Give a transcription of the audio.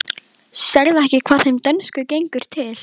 Sérðu ekki hvað þeim dönsku gengur til?